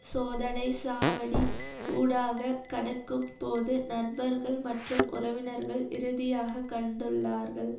சோதனை சாவடி ஊடாக கடக்கும் போது நண்பர்கள் மற்றும் உறவினர்கள் இறுதியாகக் கண்டுள்ளார்கள்